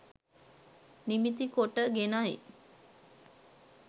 නිමිතිකොට ගෙනයි